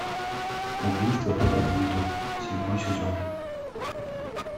убийство по алфавиту седьмой сезон